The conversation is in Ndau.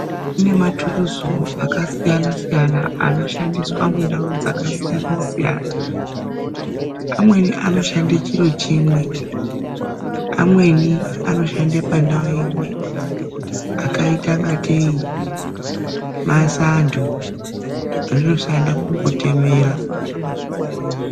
Kune mathuruzu akasiyana-siyana anoshandiswa mundau dzakasiyana-siyana. Amweni anoshande chiro chimwe, amweni anoshande pandau imwe. Akaita ngatei masanto, rinoshanda kungotemera.